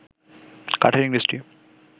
কাঠের ইংরেজটি